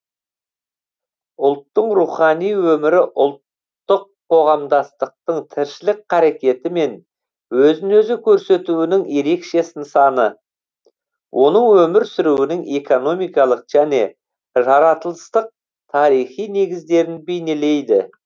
ұлттың рухани өмірі ұлттық қоғамдастықтың тіршілік қарекеті мен өзін өзі көрсетуінің ерекше нысаны оның өмір сүруінің экономикалық және жаратылыстық тарихи негіздерін бейнелейді